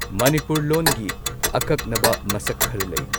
ꯃꯅꯤꯄꯨꯔ ꯂꯣꯟꯒꯤ ꯑꯀꯛꯅꯕ ꯃꯁꯛ ꯈꯔ ꯂꯩ꯫